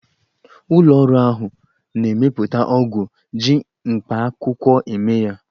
Ụlọ ọrụ ahụ na-emepụta ọgwụ ji mkpakwụkwọ eme ya.